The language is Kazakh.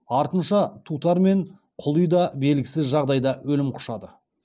артынша тутар мен құли да белгісіз жағдайда өлім құшады